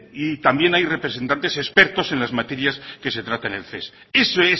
y también hay representantes expertos en las materias que se trata en el ces eso